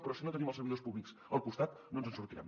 però si no tenim els servidors públics al costat no ens en sortirem